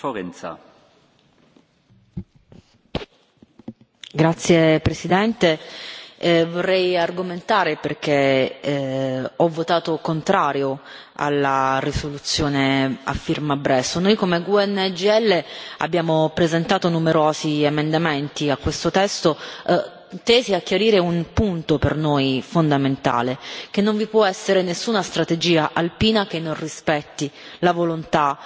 Signor Presidente, onorevoli colleghi, vorrei argomentare perché ho votato contro la risoluzione a firma Bresso. Noi, come gruppo GUE NGL, abbiamo presentato numerosi emendamenti a questo testo tesi a chiarire un punto per noi fondamentale che non vi può essere nessuna strategia alpina che non rispetti la volontà